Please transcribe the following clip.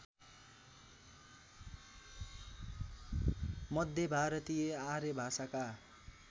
मध्य भारतीय आर्यभाषाका